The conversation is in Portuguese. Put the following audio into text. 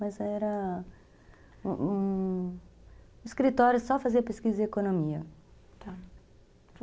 Mas era um um escritório só para fazer pesquisa de economia, tá.